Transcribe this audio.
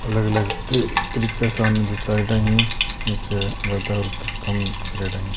अलग अलग तरीके जचायोडो है।